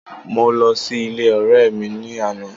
Mo lọ sí ilé ọ̀rẹ́ mi ní àná.